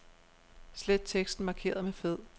Slet teksten markeret med fed.